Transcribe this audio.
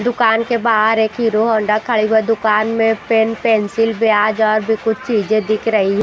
दुकान के बाहर एक हीरो होंडा खड़ी है दुकान मे पेन पेन्सिल ब्याज और भी कुछ चीजे दिख रही--